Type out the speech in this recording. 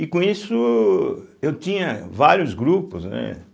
E com isso, eu tinha vários grupos, né.